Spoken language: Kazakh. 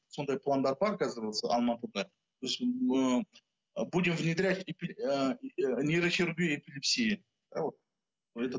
сондай пландар бар қазір осы алматыда ы будем внедрять нейрохирургию эпилепсии